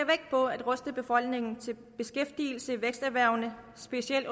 på at ruste befolkningen til beskæftigelse i væksterhvervene specielt